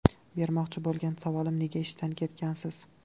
Bermoqchi bo‘lgan savolim nega ishdan ketgansiz?